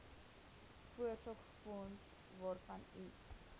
voorsorgsfonds waarvan u